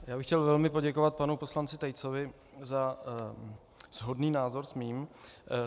Já bych chtěl velmi poděkovat panu poslanci Tejcovi za shodný názor s mým.